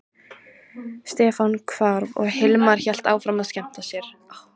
Stefán hvarf og Hilmar hélt áfram að skemmta sér.